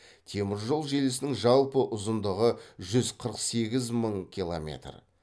теміржол желісінің жалпы ұзындығы жүз қырық сегіз мың километр